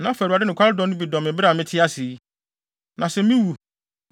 Na fa Awurade nokware dɔ no bi dɔ me bere a mete ase yi. Na sɛ miwu,